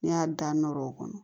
N'i y'a da nɔrɔ o kɔnɔ